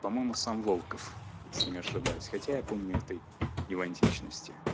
по-моему сам волков если не ошибаюсь хотя я помню и ты его античности